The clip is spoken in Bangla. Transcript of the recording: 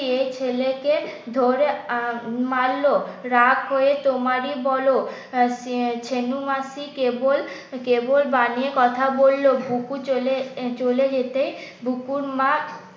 দিয়ে ছেলেকে ধরে মারলো। রাগ করে তোমারই বলো ছেনূ মাসি কেবল কেবল বানিয়ে কথা বললো। বুকু চলে চলে যেতে বুকুর মা